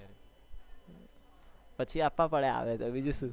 પછી આપવા પડે આવે તો બીજુ શું